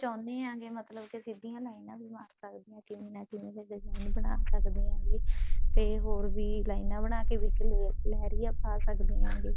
ਚਹੁੰਨੇ ਆ ਕੇ ਮਤਲਬ ਕੇ ਸਿੱਧੀਆਂ ਲਾਈਨਾ ਵੀ ਮਾਰ ਸਕਦੇ ਹੋਣ ਕਿਵੇਂ ਨਾ ਕਿਵੇਂ ਉਹ design ਬਣਾ ਸਕਦੇ ਹਾਂ ਤੇ ਹੋਰ ਵੀ ਲਾਈਨਾ ਬਣਾ ਕਿ ਲੇਹਰੀਆਂ ਵੀ ਪਾ ਸਕਦੇ ਹਾਂ